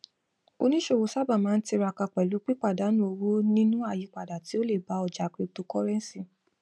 oníṣòwò sábà máa ń tiraka pẹlú pípàdánù owó nínú àyípadà tí ó lè bá ọjà cryptocurrency